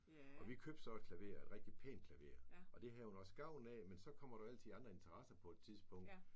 Og vi købte så et klaver et rigtig pænt klaver og det havde hun også gavn af men så kommer der jo altid andre interesser på et tidspunkt